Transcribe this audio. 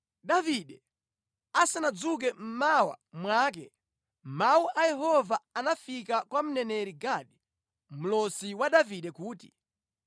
Davide asanadzuke mmawa mwake mawu a Yehova anafika kwa mneneri Gadi, mlosi wa Davide kuti,